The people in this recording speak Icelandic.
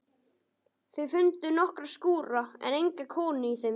Þau fundu nokkra skúra en enga konu í þeim.